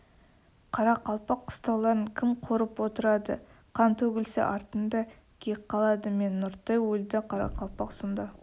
қарақалпақ қыстауларын кім қорып отырады қан төгілсе артында кек қалады мен нұртай өлді қарақалпақ сонда